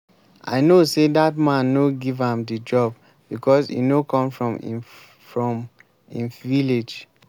i know say dat man no give am the job because e no come from im from im village